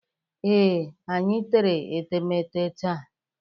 Ee, anyị tere etemete taa.